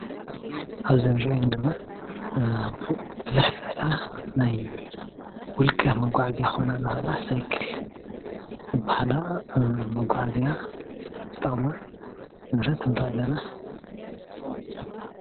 ኣብዚ ዝርአየና ዘሎ ሳይክል ዝበሃላ ናይ መጓዓዝያ ይርአየናኣሎ።